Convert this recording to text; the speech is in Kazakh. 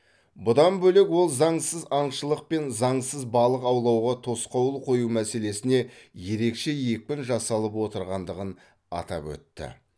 бұдан бөлек ол заңсыз аңшылық пен заңсыз балық аулауға тосқауыл қою мәселесіне ерекше екпін жасалып отырғандығын атап өтті